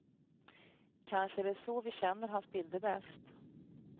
Kanske är det så vi känner hans bilder bäst.